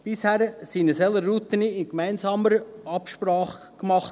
Bisher wurden solche Routen in gemeinsamer Absprache gemacht.